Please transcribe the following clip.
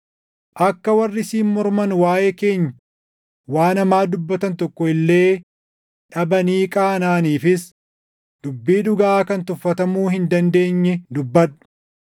akka warri siin morman waaʼee keenya waan hamaa dubbatan tokko illee dhabanii qaanaʼaniifis dubbii dhugaa kan tuffatamuu hin dandeenye dubbadhu.